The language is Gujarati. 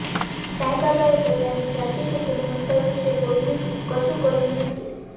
સાંઈબાબાએ પોતાની જાતિ કે જન્મસ્થળ વિશે કોઈને કશું કહ્યું નથી